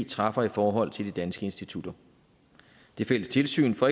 træffer i forhold til de danske institutter det fælles tilsyn får